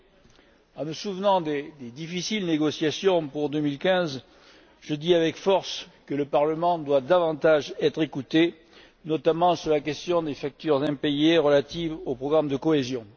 Ayant en mémoire les difficiles négociations pour 2015, je dis avec force que le Parlement doit davantage être écouté, notamment sur la question des factures impayées relatives au programme de cohésion.